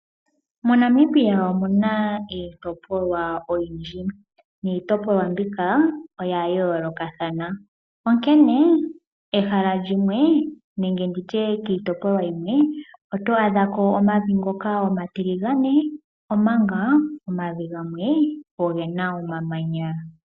Mo Namibia omuna iitopolwa oyindji . Niitopolwa mbika oya yoolokathana. Onkene kiitopolwa yimwe oto adhako omavi ngoka omatiligane omanga omavi gamwe ogena omamanya.